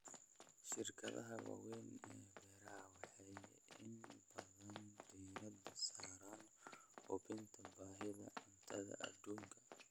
Shirkadaha waaweyn ee beeraha waxay inta badan diiradda saaraan buuxinta baahida cuntada adduunka.